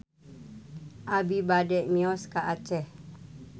Abi bade mios ka Aceh